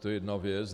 To je jedna věc.